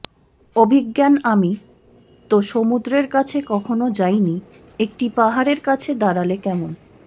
অভিজ্ঞানআমি তো সমুদ্রের কাছে কখনো যাইনিএকটি পাহাড়ের কাছে দাঁড়ালে কেমন